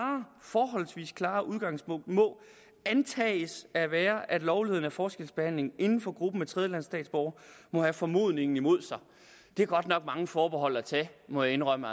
forholdsvis klare udgangspunkt må antages at være at lovligheden af forskelsbehandling inden for gruppen af tredjelandsstatsborgere må have formodningen imod sig det er godt nok mange forbehold at tage må jeg indrømme